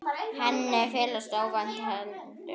Henni féllust óvænt hendur.